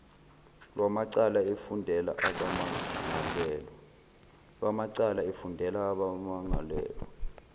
lwamacala efundela abamangalelwa